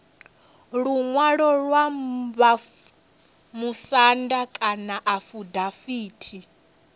luṅwalo lwa vhamusanda kana afidaviti